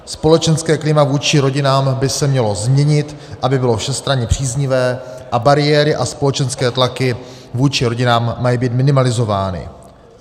Společenské klima vůči rodinám by se mělo změnit, aby bylo všestranně příznivé, a bariéry a společenské tlaky vůči rodinám mají být minimalizovány.